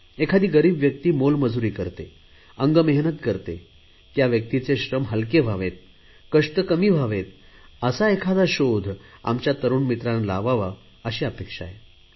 एखादी गरीब व्यक्ती मोलमजुरी करते अंगमेहनत करते या व्यक्तीचे श्रम हलके व्हावेत कष्ट कमी व्हावेत असा एखादा शोध आमच्या तरुण मित्राने लावावा अशी अपेक्षा आहे